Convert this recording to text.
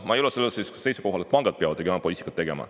Ma ei ole sellel seisukohal, et pangad peavad regionaalpoliitikat tegema.